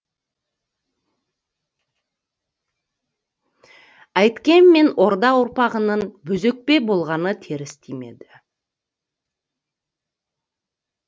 әйткенмен орда ұрпағының бозөкпе болғаны теріс тимеді